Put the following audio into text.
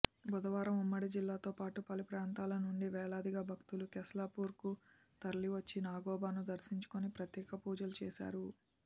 బుధవారం ఉమ్మడి జిల్లాతోపాటు పలు ప్రాంతాల నుంచి వేలాదిగా భక్తులు కెస్లాపూర్కు తరలివచ్చి నాగోబాను దర్శించుకొని ప్రత్యేక పూజలు చేశారు